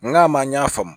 Nga ma ɲ'a faamu